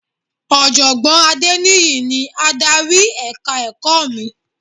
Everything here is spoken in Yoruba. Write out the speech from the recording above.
Ọ̀jọ̀gbọ́n Adéníyì ni adarí èka ẹ̀kọ́ mi